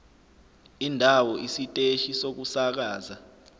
indawo isiteshi sokusakaza